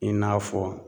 I n'a fɔ